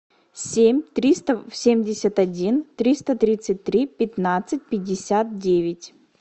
семь триста семьдесят один триста тридцать три пятнадцать пятьдесят девять